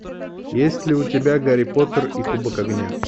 есть ли у тебя гарри поттер и кубок огня